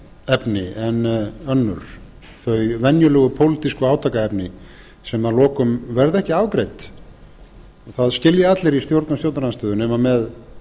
efni en önnur þau venjulegu pólitísku átakaefni sem að lokum verða ekki afgreidd það skilja allir í stjórn og stjórnarandstöðu nema með